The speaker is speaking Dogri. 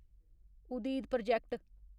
उदीद प्रोजेक्ट